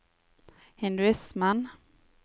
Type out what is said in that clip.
hinduismen